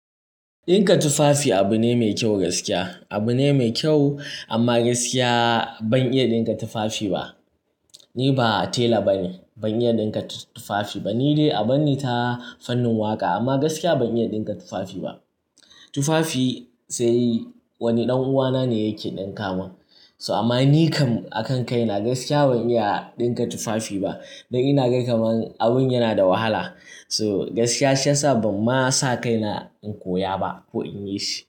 Ɗinka tufafi abune mai kyau gaskiya. Abune mai kyau amma gaskiya ban iya ɗinka tufafi ba. Ni ba tela bane, ban iya ɗinka tufafi ba. Ni dai a banni ta fannin waƙa amma gaskiya ban iya ɗinka tufafi ba. Tufafi sai wani ɗan uwana ne yake ɗinka min. To amma ni kam a kan kaina gaskiya ban iya ɗinka tufafi ba. Dan ina ga kamar abun yana da wahala. To gaskiya shi yasa ban ma sa kaina in koya ba ko in yi shi.